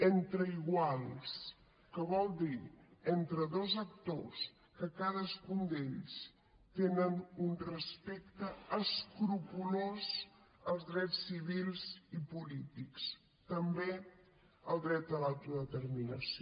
entre iguals que vol dir entre dos actors que cadascun d’ells té un respecte escrupolós als drets civils i polítics també al dret a l’autodeterminació